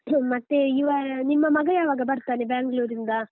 ಹ್ಮ್ ಮತ್ತೆ ಇವ ನಿಮ್ಮ ಮಗ ಯಾವಾಗ ಬರ್ತಾನೆ Bangalore ರಿಂದ?